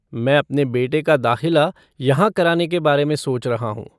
मैं अपने बेटे का दाख़िला यहाँ कराने के बारे में सोच रहा हूँ।